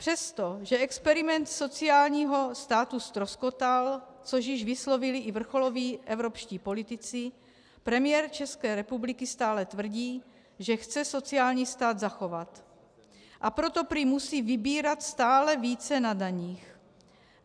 Přestože experiment sociálního státu ztroskotal, což již vyslovili i vrcholoví evropští politici, premiér České republiky stále tvrdí, že chce sociální stát zachovat, a proto prý musí vybírat stále více na daních.